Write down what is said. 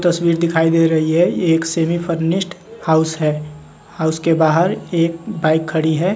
तस्वीर दिखाई दे रही है एक सेविंग फर्निस्ट हाउस है हाउस के बाहर एक बाइक खड़ी है।